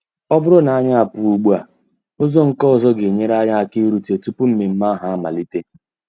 Ọ bụrụ na anyị pụọ ugbua, ụzọ nke ọzọ ga-enyere anyị aka irute tupu mmemme ahụ amalite.